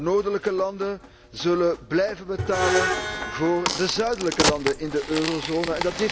De noordelijke landen zullen blijven betalen voor de zuidelijke landen in de eurozone.